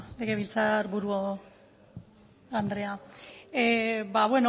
legebiltzar buru andrea ba